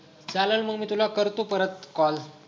चालेल मग मी तुला करतो परत call